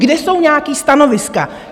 Kde jsou nějaká stanoviska?